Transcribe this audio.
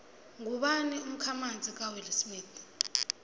ngubani umkhamanzi kawillsmith